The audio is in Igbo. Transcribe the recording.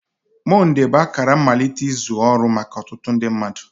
Mọnde bụ akara mmalite nke izu ọrụ maka ọtụtụ mmadụ.